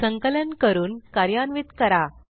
संकलन करून कार्यान्वित करा